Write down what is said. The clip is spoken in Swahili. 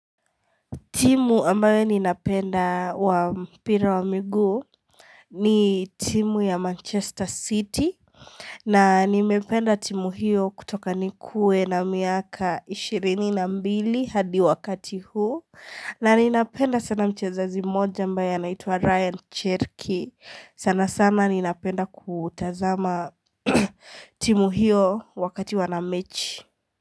Timu ambayo ninapenda wa mpira wa miguu ni timu ya Manchester City. Na nimependa timu hiyo kutoka nikue na miaka 22 hadi wakati huu. Na ninapenda sana mchezaji mmoja ambaye anaitua Ryan Cherky. Sana sana ninapenda kutazama timu hiyo wakati wanamechi.